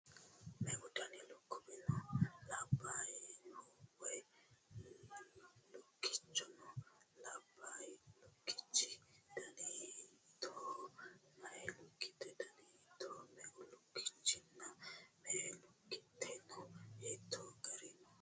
Meu dani lukkuwi no? Labbaayihu woy lukkichi no? Labbaay lukkichi dani hittooho? Meeya lukkuwi dani hiittooho? Meu lukkichchinna me"e lukkite no? Hiittoo darga no?